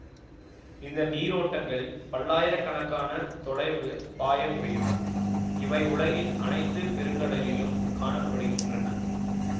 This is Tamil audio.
இந்த நீரோட்டங்கள் பல்லாயிர கணக்கான தொலைவு பாய முடியும் இவை உலகின் அனைத்து பெருங்கடலிலும் காண படுகின்றன